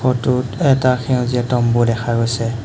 ফটোত এটা সেউজীয়া তম্বো দেখা গৈছে।